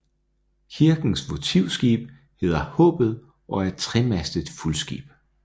Kirkens votivskib hedder Haabet og er et tremastet fuldskib